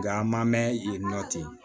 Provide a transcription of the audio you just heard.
Nga an ma mɛn yen nɔ ten